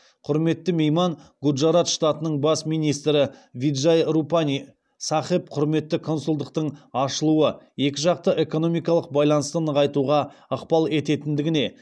құрметті мейман гуджарат штатының бас министрі виджай рупани сахеб құрметті консулдықтың ашылуы екі жақты экономикалық байланысты нығайтуға ықпал ететіндігіне